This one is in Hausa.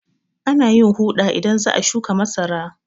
Ana yin huɗa idan za a shuƙa masara.